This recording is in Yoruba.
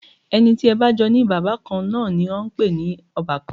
Ẹni tí ẹ bá jọ ní bàbá kan náà ni à ń pè ní ọbàkan